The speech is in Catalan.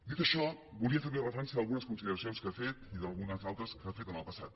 dit això volia fer li referència d’algunes consideracions que ha fet i d’algunes altres que ha fet en el passat